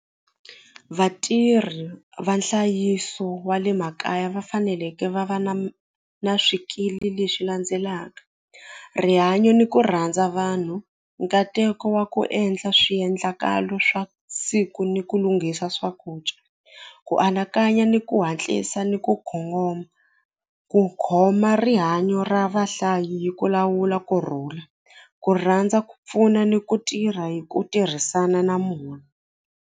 Vatirhi va nhlayiso wa le makaya va faneleke va va na na swikili leswi landzelaka rihanyo ni ku rhandza vanhu nkateko wa ku endla swiendlakalo swa siku ni ku lunghisa swakudya ku anakanya ni ku hatlisa ni ku kongoma ku khoma rihanyo ra vahlayi gi ku lawula kurhula ku rhandza ku pfuna ni ku tirha hi ku tirhisana na munhu.